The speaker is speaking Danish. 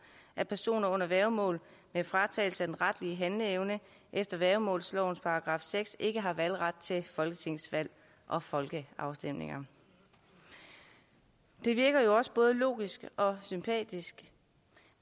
at personer under værgemål med fratagelse af den retlige handleevne efter værgemålslovens § seks ikke har valgret til folketingsvalg og folkeafstemninger det virker jo også både logisk og sympatisk